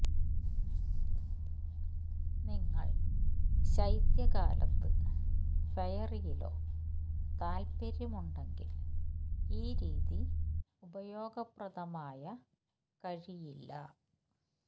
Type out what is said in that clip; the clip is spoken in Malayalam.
നിങ്ങൾ ശൈത്യകാലത്ത് ഫെയറിയിലോ താല്പര്യം ഉണ്ടെങ്കിൽ ഈ രീതി ഉപയോഗപ്രദമായ കഴിയില്ല